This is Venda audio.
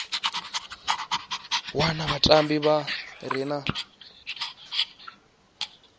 wana vhatambi vha re na